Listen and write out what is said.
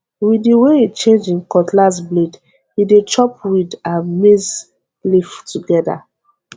with the way e change him cutlass blade e dey chop weed and maize leaf together